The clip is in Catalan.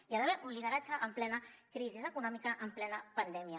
hi ha d’haver un lideratge en plena crisi econòmica en plena pandèmia